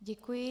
Děkuji.